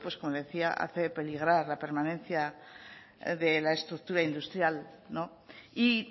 como le decía hace peligrar la permanencia de la estructura industrial y